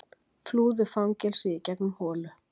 Flúðu fangelsi í gegnum holu